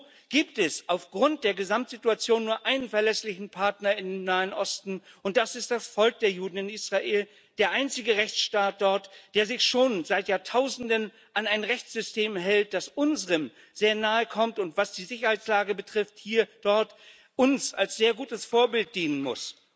Und so gibt es aufgrund der Gesamtsituation nur einen verlässlichen Partner im Nahen Osten Das ist das Volk der Juden in Israel, der einzige Rechtsstaat dort, der sich schon seit Jahrtausenden an ein Rechtssystem hält, das unserem sehr nahe kommt und was die Sicherheitslage betrifft hier und dort uns als sehr gutes Vorbild dienen muss.